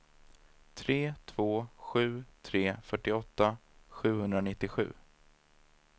tre två sju tre fyrtioåtta sjuhundranittiosju